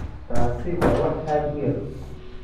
Taasi waa wax aad u yar.